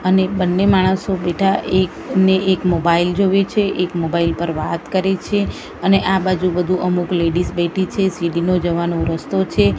અને બન્ને માણસો બેઠા એક ને એક મોબાઇલ જોવે છે એક મોબાઈલ પર વાત કરે છે અને આ બાજુ બધું અમુક લેડીઝ બેઠી છે સીડીનો જવાનો રસ્તો છે.